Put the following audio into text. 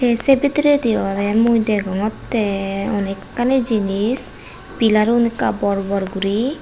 tey say bederade ola mui dagongota onek kani jenes pelarun akka bor bor guri.